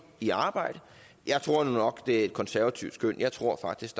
i arbejde jeg tror nu nok at det er et konservativt skøn jeg tror faktisk